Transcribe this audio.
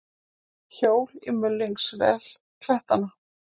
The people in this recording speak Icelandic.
Hjól í mulningsvél klettanna.